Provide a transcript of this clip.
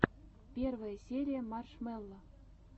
первая серия маршмелло